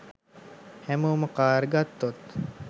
හැමෝම කාර් ගත්තොත්